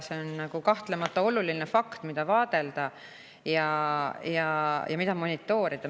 See on kahtlemata oluline, mida vaadelda ja mida monitoorida.